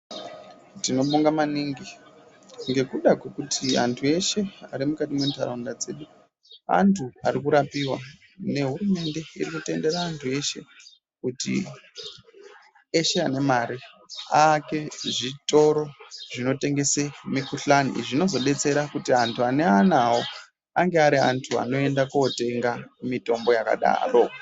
Tinobonga maningi ngekuda kwekuti anthu eshe ari mukati mentaraunda dzedu anthu arikurapiwa nehurumende iri kutendera anthu eshe kuti eshe ane mare aake zvitoro zvinotengese mikuhlani zvinozodetsera kuti anthu ane anawo anoenda kootenga mitombo yakadaro.